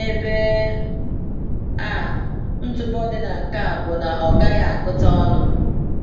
N’ebe a, ntụpọ dị na nke a bụ na ọ gaghị agụta ọnụ.